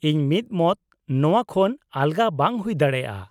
-ᱤᱧ ᱢᱤᱫᱢᱚᱛ! ᱱᱚᱶᱟ ᱠᱷᱚᱱ ᱟᱞᱜᱟ ᱵᱟᱝ ᱦᱩᱭ ᱫᱟᱲᱮᱭᱟᱜᱼᱟ ᱾